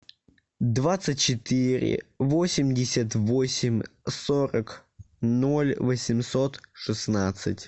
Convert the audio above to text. двадцать четыре восемьдесят восемь сорок ноль восемьсот шестнадцать